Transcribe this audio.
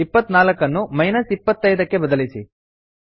24 ಅನ್ನು ಮೈನಸ್ 25 ಗೆ ಬದಲಿಸಿ